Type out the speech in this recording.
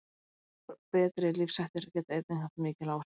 Breyttir og betri lífshættir geta einnig haft mikil áhrif.